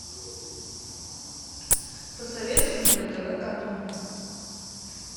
посоветуй мне на тв катун